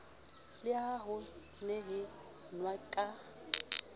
le ha ho nehelanwa ka